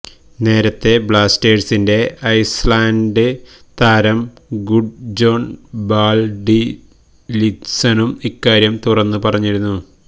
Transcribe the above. നേരത്തെ ബ്ലാസ്റ്റേഴ്സിന്റെ ഐസ്ലാന്ഡ് താരം ഗുഡ്ജോണ് ബാല്ഡ്വില്സണും ഇക്കാര്യം തുറന്നു പറഞ്ഞിരുന്നു